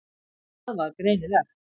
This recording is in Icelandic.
Það var greinilegt.